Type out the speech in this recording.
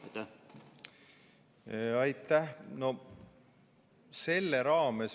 Aitäh!